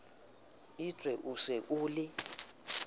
etswe o se o le